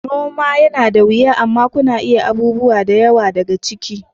Noma yana da wiya amma kuna iya yin abubuwa da yawa daga ciki.